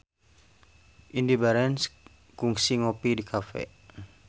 Indy Barens kungsi ngopi di cafe